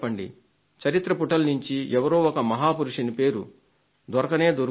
చరిత్ర పుటలలో నుండి ఎవరో ఒక మహాపురుషుని పేరు దొరకనే దొరుకుతుంది